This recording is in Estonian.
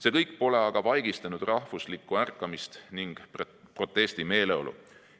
See kõik pole aga vaigistanud rahvuslikku ärkamist ning protestimeeleolu.